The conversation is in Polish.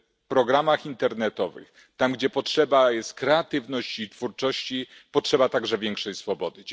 w programach internetowych, tam, gdzie potrzeba jest kreatywności i twórczości, potrzeba także większej swobody.